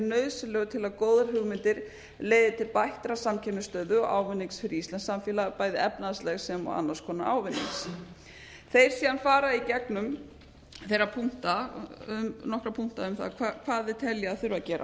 nauðsynlegur til að góðar hugmyndir leiði til bættra samkeppnisstöðu ávinnings fyrir íslenskt samfélag bæði efnahagsleg sem og annars konar ávinning þeir síðan fara í gegnum þeirra punkta um nokkra punkta um það hvað þeir telja að þurfi